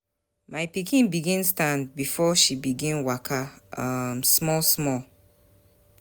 My pikin begin stand before she begin waka um small small.